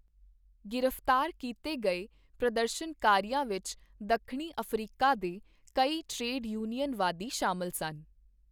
ਗ੍ਰਿਫਤਾਰ ਕੀਤੇ ਗਏ ਪ੍ਰਦਰਸ਼ਨਕਾਰੀਆਂ ਵਿੱਚ ਦੱਖਣੀ ਅਫ਼ਰੀਕਾ ਦੇ ਕਈ ਟਰੇਡ ਯੂਨੀਅਨਵਾਦੀ ਸ਼ਾਮਲ ਸਨ।